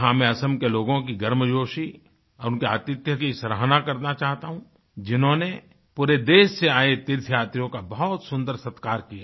यहाँ मैं असम के लोगों की गर्मजोशी उनके आतिथ्य कीसराहना करना चाहता हूँ जिन्होंने पूरे देश से आये तीर्थयात्रियों का बहुत सुन्दर सत्कार किया